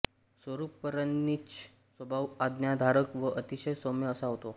स्वरूपराणींचा स्वभाव आज्ञाधारक व अतिशय सौम्य असा होता